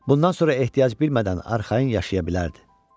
Bundan sonra ehtiyac bilmədən arxayın yaşaya bilərdi.